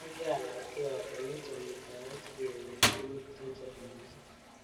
Akianetkei ale meche muitaet sikenyor tukun chechang missing.